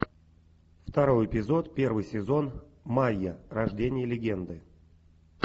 второй эпизод первый сезон майя рождение легенды